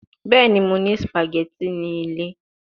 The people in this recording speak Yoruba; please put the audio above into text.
Bẹẹni, Mo ni spaghetti ni ile